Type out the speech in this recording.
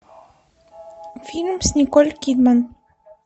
фильм с николь кидман